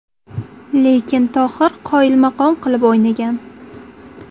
Lekin Tohir qoyilmaqom qilib o‘ynagan.